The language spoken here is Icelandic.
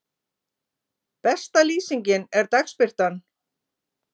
Besta lýsingin er dagsbirtan.